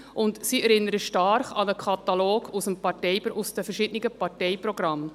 Diese erinnern stark an einen Katalog aus den verschiedenen Parteiprogrammen.